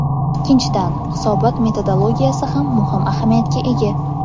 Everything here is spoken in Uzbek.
Ikkinchidan, hisobot metodologiyasi ham muhim ahamiyatga ega.